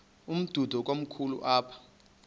umdudo komkhulu apha